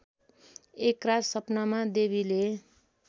एकरात सपनामा देवीले